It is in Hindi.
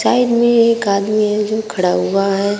साइड में एक आदमी है जो खड़ा हुआ है।